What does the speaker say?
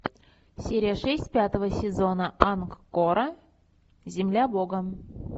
серия шесть пятого сезона ангкора земля бога